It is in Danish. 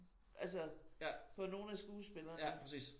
Altså på nogle af skuespillerne